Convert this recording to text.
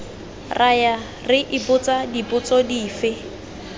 raya re ipotsa dipotso dife